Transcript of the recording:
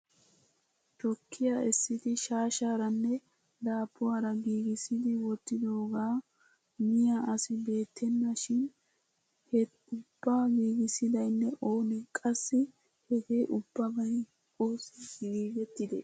Tukkiyaa essidi shaashshaaranne daabbuwaara giigissidi wottidoogaa maiyaa asi beettena shin he ubbaa giigissidaynne oonee. Qassi hegee ubbabay oossi giigettidee ?